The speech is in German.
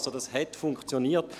Es hat also funktioniert.